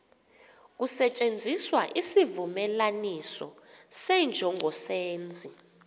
kusetyenziswa isivumelanisi senjongosenzi